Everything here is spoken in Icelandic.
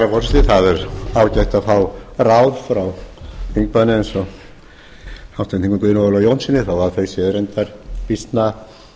herra forseti það er ágætt að fá ráð frá þingmanni eins og háttvirtur þingmaður guðjóni ólafi jónssyni þó að þau séu reyndar býsna